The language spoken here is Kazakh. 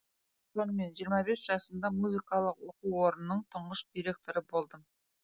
сонымен жиырма бес жасымда музыкалық оқу орнының тұңғыш директоры болдым